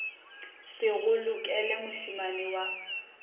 se go lokele mošemane wa